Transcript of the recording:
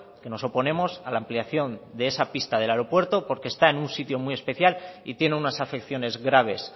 que nos oponemos a la ampliación de esa pista del aeropuerto porque está en un sitio muy especial y tiene unas afecciones graves